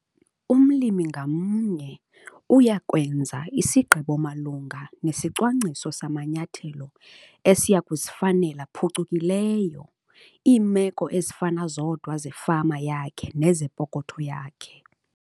Umlimi ngamnye uya kwenza isigqibo malunga nesicwangciso samanyathelo esiya kuzifanela phucukileyo iimeko ezifana zodwa zefama yakhe nezepokotho yakhe.